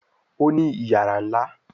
Òní iyàrá nlá.